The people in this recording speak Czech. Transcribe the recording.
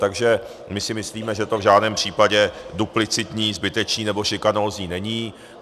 Takže my si myslíme, že to v žádném případě duplicitní, zbytečný nebo šikanózní není.